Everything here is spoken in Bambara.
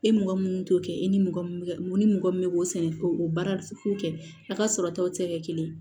E ni mɔgɔ mun t'o kɛ e ni mɔgɔ min bɛ mun ni mɔgɔ min bɛ k'o sɛnɛ k'o baara k'o kɛ a ka sɔrɔ taw tɛ kɛ kelen ye